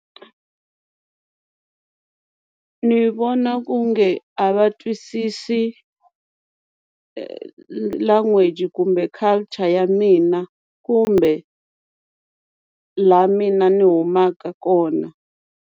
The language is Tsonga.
Ni vona ku nge a va twisisi language kumbe culture ya mina kumbe laha mina ni humaka kona.